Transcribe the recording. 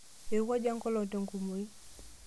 Eirowuaja eng'olong te nkumoi.